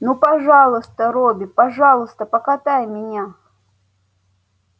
ну пожалуйста робби пожалуйста покатай меня